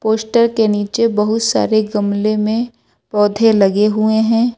Poster के नीचे बहुत सारे गमले में पौधे लगे हुए हैं।